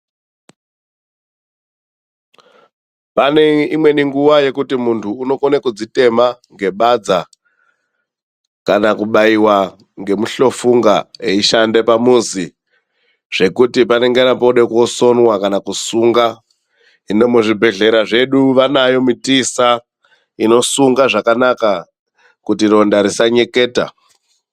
Pane nguva yekuti mundu anokona kudzitema nebadza kana kubaiwa nemuhlofunga eishanda pamuzi zvekuti panenge pachida kusonwa kana kusungwa hino muzvibhedhlera vanayo mutiisa unosunga zvakanaka kuti ronda risanyeketa.